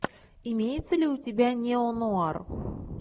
имеется ли у тебя неонуар